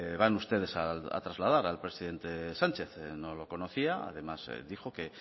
van ustedes a trasladar al presidente sánchez no lo conocía además dijo que